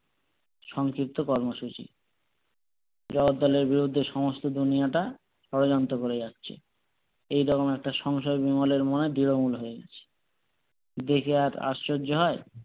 সংক্ষিপ্ত কর্মসূচি জগদ্দলের বিরুদ্ধে সমস্ত দুনিয়াটা ষড়যন্ত্র করে যাচ্ছে এই রকম একটা সংশয় বিমলের মনে দৃঢ়মূল হয়ে গেছে দেখা আর আশ্চর্য হয়